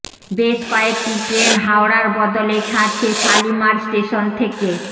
বেশ কয়েকটি ট্রেন হাওড়ার বদলে ছাড়ছে শালিমার স্টেশন থেকে